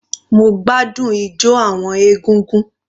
Mo gbádùn ijo àwọn ẹgbẹ́ egúngún.